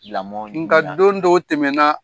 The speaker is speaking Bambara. Lamɔ . Nga don dɔw tɛmɛna.